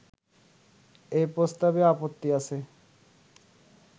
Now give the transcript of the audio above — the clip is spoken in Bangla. এই প্রস্তাবে আপত্তি আছে